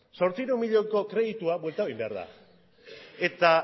zortziehun milioiko kreditua bueltatu egin behar da eta